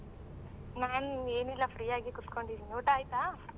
ನಾನ್ ಏನ್ ಇಲ್ಲ free ಆಗೇ ಕೂತ್ಕೊಂಡಿದಿನಿ ಊಟ ಆಯ್ತಾ?